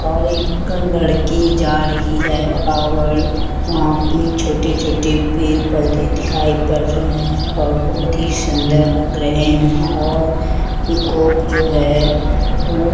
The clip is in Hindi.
और एक लड़की जा रही है और वहाँ पर छोटे-छोटे पेड़-पौधे दिखाई पढ़ रहे हैं और बहुत ही सुंदर लग रहे हैं और पीकॉक जो है वो --